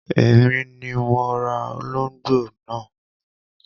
Èmi ni mo ra olóngbò náà.